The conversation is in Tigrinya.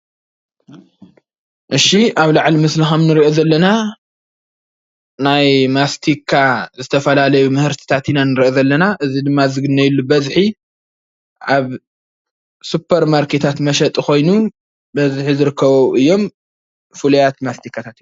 እሺ ኣብ ላዕሊ ምስሊ ከም እንሪኦ ዘለና ናይ ማስቲካ ዝተፈላለዩ ምህርትታት ኢና ንርኢ ዘለና፡፡ እዚ ንግነየሉ በዝሒ ኣብ ሱፐር ማርኬታት መሸጢ ኮይኑ በዝሒ ዝርከቡ ኣብኡ እዮም ፍሉያት መስቲካታት እዮም፡፡